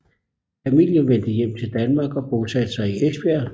Familien vendte hjem til Danmark og bosatte sig i Esbjerg